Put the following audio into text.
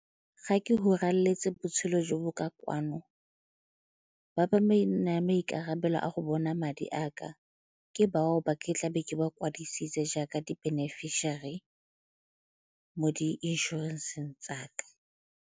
Ga ke go furaletse botshelo jo bo ka kwano ba ba maikarabelo a go bona madi a ka ke bao ba ke tla be ke ba kwadisitswe jaaka di-beneficiary mo di inšorenseng tsa ka.